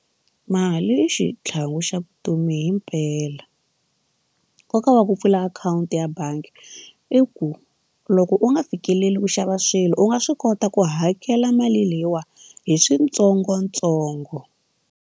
Mali i xitlhangu xa vutomi himpela nkoka wa ku pfula akhawunti ya bangi i ku loko u nga fikeleli ku xava swilo u nga swi kota ku hakela mali leyiwani hi swintsongontsongo.